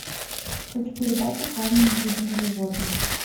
хочу передачу с разными видами животных